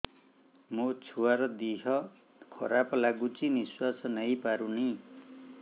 ମୋ ଛୁଆର ଦିହ ଖରାପ ଲାଗୁଚି ନିଃଶ୍ବାସ ନେଇ ପାରୁନି